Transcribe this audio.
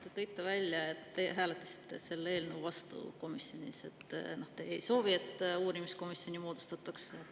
Te tõite välja, et te hääletasite komisjonis selle eelnõu vastu, te ei soovi, et uurimiskomisjon moodustataks.